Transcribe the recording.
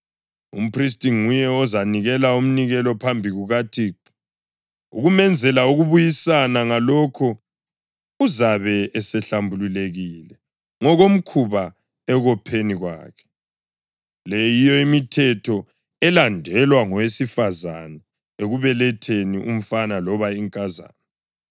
Umphristi nguye ozanikela umnikelo phambi kukaThixo ukumenzela ukubuyisana, ngalokho uzabe esehlambulukile ngokomkhuba ekopheni kwakhe. Le yiyo imithetho elandelwa ngowesifazane ekubeletheni umfana loba inkazana.